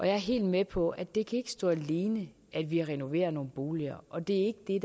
jeg er helt med på at det ikke kan stå alene at vi renoverer nogle boliger og det er